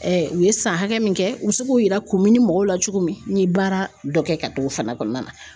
u ye san hakɛ min kɛ u be se k'u yira mɔgɔw la cogo min, n ye baara dɔ kɛ ka don o fana kɔnɔna na .